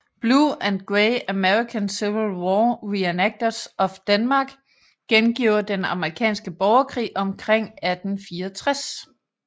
Blue and Gray American Civil War Reenactors of Denmark gengiver Den Amerikanske Borgerkrig omkring 1864